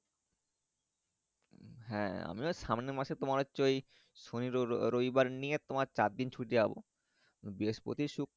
হ্যাঁ আমিও সামনে মাসে তোমার হচ্ছে ওই সনি রবি বার নিয়ে চার দিন ছুটি পাবো বৃহস্পতি, শুক্র।